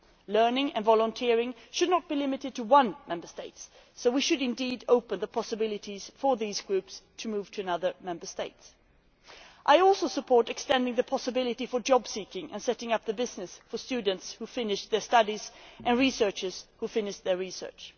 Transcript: Learning and volunteering should not be limited to one Member State so we should indeed open up possibilities for these groups to move to other Member States. I also support extending this possibility to job seeking and the setting up of businesses for students who finish their studies and researchers who finish their research.